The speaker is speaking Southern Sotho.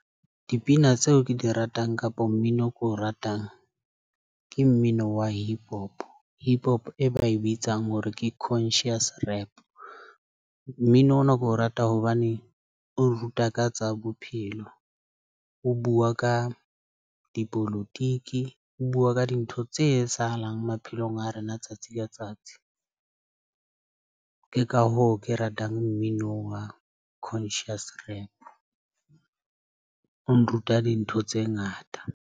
Dipina tseo ke di ratang kapa mmino o ko ratang ke mmino wa hip hop, hip hop. E ba e bitsang hore ke Conscious rap. Mmino ona ke o rata hobane o ruta ka tsa bophelo o bua ka dipolotiki. O bua ka dintho tse etsahalang maphelong a rena tsatsi ka tsatsi. Ke ka hoo ke ratang mmino wa Conscious rap, o nruta dintho tse ngata.